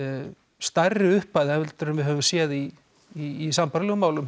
stærri upphæð heldur en við höfum séð í í sambærilegum málum